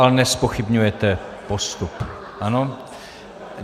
Ale nezpochybňujete postup, ano?